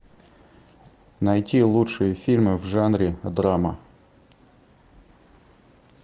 найти лучшие фильмы в жанре драма